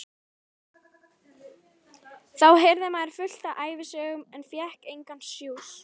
Þá heyrði maður fullt af ævisögum en fékk engan sjúss.